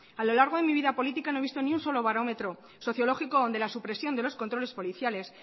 a lo largo de mi vida política no he visto ni un solo barómetro sociológico donde la supresión de los controles policiales